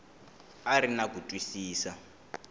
a ri na ku twisisa